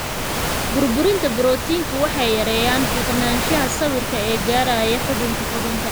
Burburinta borotiinku waxay yareeyaan fiiqanaanshaha sawirka ee gaadhaya xuubka xuubka.